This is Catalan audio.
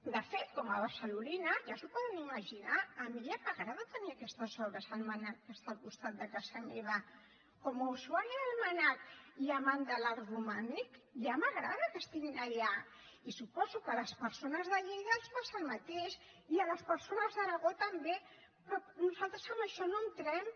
de fet com a barcelonina ja s’ho poden imaginar a mi ja m’agrada tenir aquestes obres al mnac que està al costat de casa meva com a usuària del mnac i amant de l’art romànic ja m’agrada que estiguin allà i suposo que a les persones de lleida els passa el mateix i a les persones d’aragó també però nosaltres en això no hi entrem